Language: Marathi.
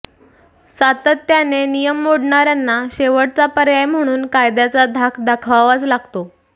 सातत्याने नियम मोडणाऱ्यांना शेवटचा पर्याय म्हणून कायद्याचा धाक दाखवावाच लागतो